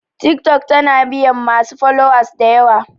Tiktok tana biyan masu followers dayawa